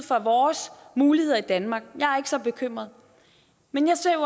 for vores muligheder i danmark jeg er så bekymret men jeg ser jo